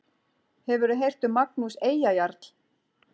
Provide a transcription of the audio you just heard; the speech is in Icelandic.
Hefurðu heyrt um Magnús Eyjajarl?